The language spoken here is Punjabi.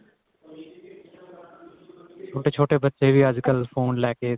ਛੋਟੇ ਛੋਟੇ ਬੱਚੇ ਵੀ ਅੱਜਕਲ phone ਲੈ ਕੇ